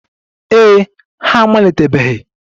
Ee e, ha amalitebeghị.